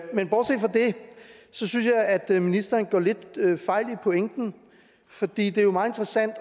synes jeg at ministeren går lidt fejl i pointen for det er jo meget interessant